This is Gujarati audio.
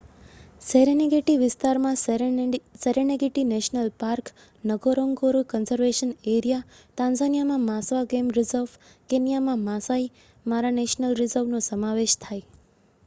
સેરેનેગેટી વિસ્તારમાં Serengeti National Park Ngorongoro Conservation Area અને તાન્ઝાનિયામાં માસ્વા ગેમ રિઝર્વ અને કેન્યામાં માસાઈ મારા નેશનલ રિઝર્વ નો સમાવેશ થાય